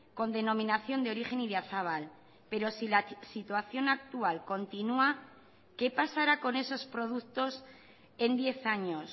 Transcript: con denominación de origen idiazabal pero si la situación actual continua qué pasará con esos productos en diez años